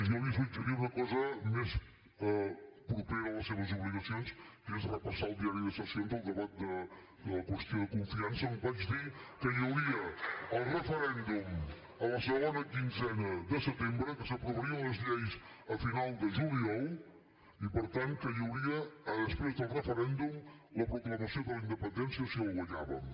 jo li suggeria una cosa més propera a les seves obligacions que és repassar al diari de sessions el debat de la qüestió de confiança on vaig dir que hi hauria el referèndum la segona quinzena de setembre que s’aprovarien les lleis a final de juliol i per tant que hi hauria després del referèndum la proclamació de la independència si el guanyàvem